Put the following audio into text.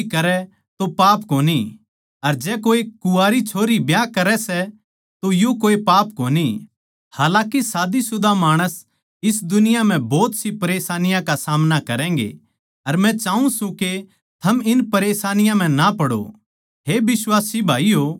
पर जै तू ब्याह भी करै तो पाप कोनी अर जै कोए कुँवारी छोरी ब्याह करै सै तोभी कोए पाप कोनी हालाकि शादीशुदा माणस इस दुनिया म्ह भोत सी परेशानियाँ का सामना करैंगें अर मै चाऊँ सूं के थम इन परेशानियाँ म्ह ना पड़ो